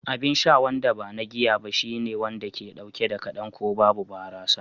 Abin sha wanda ba na giya ba shine wanda ke dauke da kadan ko babu barasa